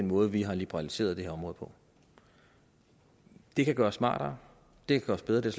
måde vi har liberaliseret det her område på det kan gøres smartere det kan gøres bedre det